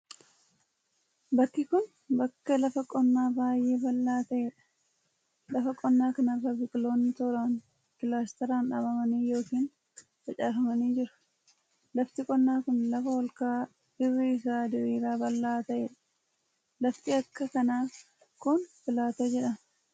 Bakki kun, bakka lafa qonnaa baay'ee bal'aa ta'ee dha. Lafa qonnaa kana irra biqiloonni tooran kilaastaraan dhaabamanii yookin facaafamanii jiru. Lafti qonnaa kun, lafa ol ka'aa irri isaa diriiraa bal'aa ta'ee dha. Lafti akka kanaa kun, pilaatoo jedhama.